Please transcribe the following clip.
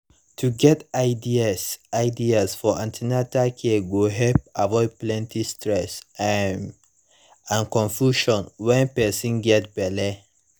to get ideas ideas for an ten atal care go help avoid plenty stress um and confusion when person get belle